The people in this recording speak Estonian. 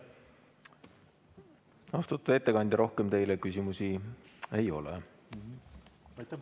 Austatud ettekandja, rohkem teile küsimusi ei ole.